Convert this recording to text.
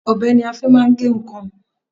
Ọbẹ ni a fi máa ń gé nǹkan.